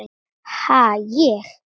Ha, ég?